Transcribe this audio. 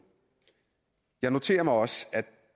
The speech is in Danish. jeg noterer mig også at